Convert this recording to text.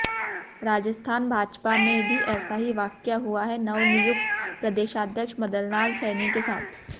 राजस्थान भाजपा में भी ऐसा ही वाकया हुआ है नवनियुक्त प्रदेशाध्यक्ष मदनलाल सैनी के साथ